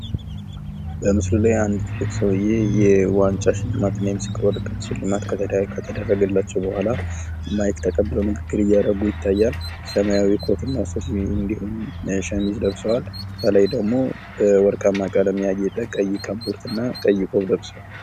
በምስሉ ላይ አንድ ትልቅ ሰውዬ የዋንጫ ሽልማት እና የምስክር ወረቀት ሽልማት ከተደረገላቸው በኋላ ማይክ ተቀብለው ንግግር እያደረጉ ይታያል። ሰማያዊ ኮትና ሱሪ እንዲሁም የሸሚዝ ለብሰዋል። ከላይ ደግሞ ወርቃማ ቀለም ያጌጠ ቀይ ክቦርትና ቀይ ቆብ ለብሰዋል።.